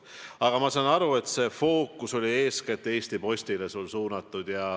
Aga ma saan aru, et küsimuse fookus oli eeskätt Eesti Postile suunatud.